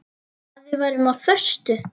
Að við værum á föstu.